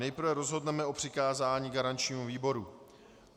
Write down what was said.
Nejprve rozhodneme o přikázání garančnímu výboru.